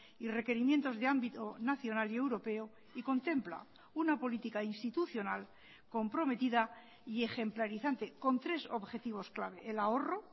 y requerimientos de ámbito nacional y europeo y contempla una política institucional comprometida y ejemplarizante con tres objetivos clave el ahorro